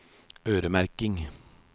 øremerking